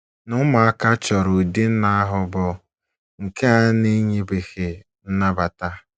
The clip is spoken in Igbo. Na ụmụaka chọrọ ụdị nna ahụ bụ nke a na enyebeghị nnabata.